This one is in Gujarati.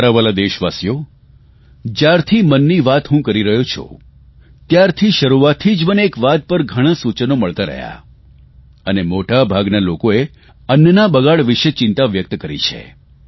મારા વહાલા દેશવાસીઓ જયારથી મન કી બાત હું કરી રહ્યો છું ત્યારથી શરૂઆતથી જ મને એક વાત પર ઘણાં સૂચનો મળતા રહ્યાં અને મોટાભાગના લોકોએ અન્નના બગાડ વિષે ચિંતા વ્યક્ત કરી છે